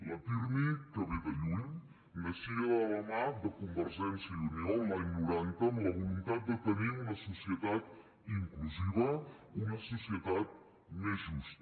el pirmi que ve de lluny naixia de la mà de convergència i unió l’any noranta amb la voluntat de tenir una societat inclusiva una societat més justa